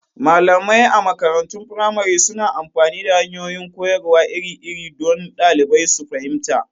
Malamai a makarantun firamare suna amfani da hanyoyin koyarwa iri-iri don ɗalibai su fahimta.